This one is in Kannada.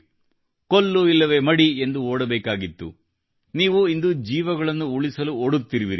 ಕೊಲ್ಲು ಇಲ್ಲವೇ ಮಡಿ ಎಂದು ಓಡಬೇಕಾಗಿತ್ತು ನೀವು ಇಂದು ಜೀವಗಳನ್ನು ಉಳಿಸಲು ಓಡುತ್ತಿರುವಿರಿ